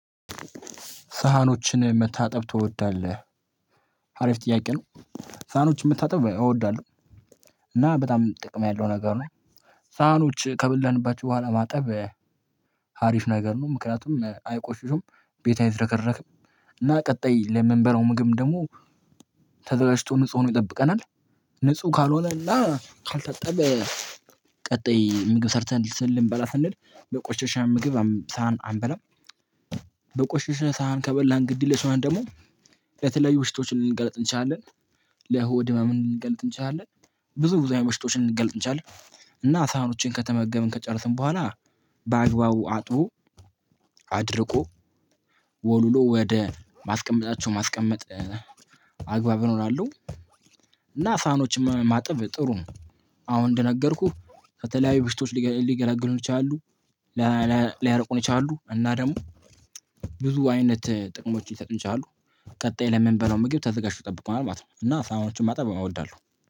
ሳህኖችን መታጠብ ትወዳለህ አሪፍ ጥያቄ ነው? ሳህኖችን መታጠብ እወዳለሁ። እና በጣም ጥቅም ያለው ነገር ነው። ሳህኖች ከበላንባቸው በኋላ ማጠብ ሀሪፍ ነገር ነው። ምክንያቱም አይቆሽሹም ቤት አይዘረከረክም። እና ቀጣይ ለምንበላው ምግብ ደግሞ ተዘጋጅቶ ንጹህ ሆኖ ይጠብቀናል። ንጹህ ካልሆነ እና ካልታጠበ። ቀጣይ ምግብ ሰርተን ልንበላ ስንል በቆሸሸ ምግብ ሳህን አንበላም። በቆሸሸ ሳህን ከበላን ግድ የለሽ ሆነን ደግሞ የተለያዩ በሽታዎች ልንጋለጥ እንችላለን። ለሆድ ህመም ልንጋለጥ እንችላለን። ብዙ ብዙ አይነት በሽታዎች ልንጋለጥ እንችላለን። እና ሳህኖችን ከተመገብን ከጨረስን በኋላ በአግባቡ አጥቦ። አድርቆ ወልውሎ ወደ ማስቀመጣቸው ማስቀመጥ አግባብ እሆናሉ። እና ሳህኖችን ማጥብ ጥሩ ነው። አሁን እንደነገርኩህ ከተለያዩ በሽቶች ሊገላግሉን ይችላሉ። ሊያርቁን ይችላሉ እና ደግሞ ብዙ አይነት ጥቅሞችን ሊሰጡን ይችላሉ። ቀጣይ ለምንበላው ምግብ ተዘጋጅቶ ይጠብቁናል ማለት ነው። እና ሳህኖችን ማጠብ እወዳለሁ